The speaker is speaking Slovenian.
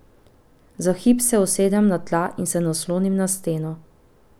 Za hip se usedem na tla in se naslonim na steno.